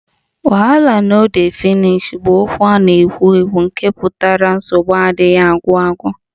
Wahala no dey finish 'bụ okwu na-ewu ewu nke pụtara nsogbu adịghị agwụ agwụ